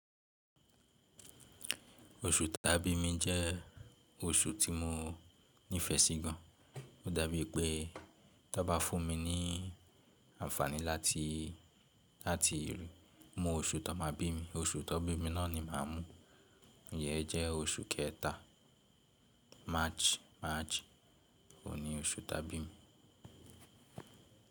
Oṣù ta bí mi jẹ́ oṣù tí mo nífẹ̀ẹ́ sí gan. Ó dàbí pé tan bá fún mi ní àǹfààní láti, láti mú oṣù tan máa bí mi. Oṣù tó bí mi náà ni màá mú. Iyẹ jẹ́ oṣù kẹta, March, March ni oṣù ta bí mi.